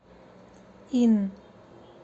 ин